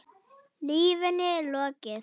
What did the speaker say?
Lífinu er lokið.